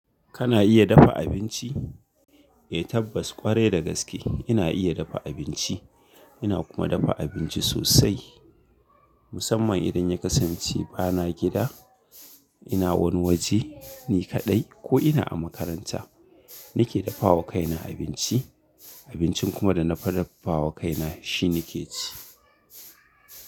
Kana iya dafa abinci? Eh tabbas kwarai da gaske ina iya dafa abinci. Ina kuma dafa abinci sosai. Musamman idan ya kasance bana gida, ina wani waje ni kaɗai ko ina a makaranta. Nake dafa wa kaina abinci, abincin kuma da na dafa wa kaina shine nake ci.